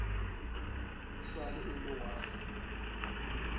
e sa le elwa wa